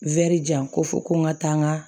jan ko fo ko n ka taa n ka